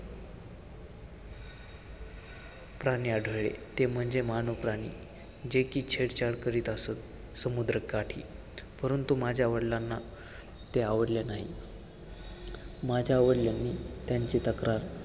प्राणी आढळले, ते म्हणजे मानव प्राणी, जे की छेडछाड करीत असंत समुद्रकाठी, परंतु माझ्या वडिलांना ते आवडले नाही. माझ्या वडिलांनी त्यांची तक्रार